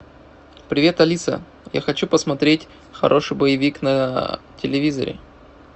привет алиса я хочу посмотреть хороший боевик на телевизоре